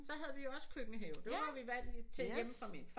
Så havde vi også køkkenhave det var vi vant til hjemme fra min far